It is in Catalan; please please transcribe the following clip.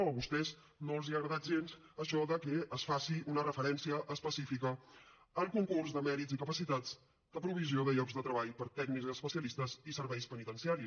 o a vostès no els ha agradat gens això de que es faci una referència específica al concurs de mèrits i capacitats de provisió de llocs de treball per a tècnics especialistes i serveis penitenciaris